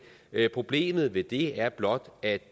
problemet ved det er blot at